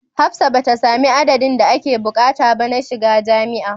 Hafsat bata sami addadin da ake bukata ba na shiga jamia